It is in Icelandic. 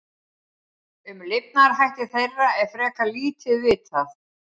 Um lifnaðarhætti þeirra er frekar lítið vitað.